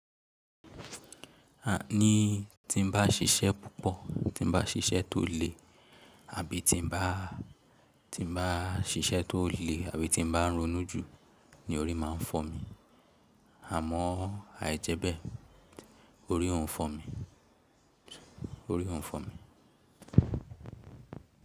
Ní tí n bá ṣiṣẹ́ púpọ̀, tí n bá ṣiṣẹ́ tó le àbí tí n bá, tí n bá ṣiṣẹ́ tó le àbí tí n bá ronú jù ni orí máa ń fọ́ mi. Àmọ́ àìjẹ́bẹ̀ orí ò ń fọ́ mi, orí ò ń fọ́ mi.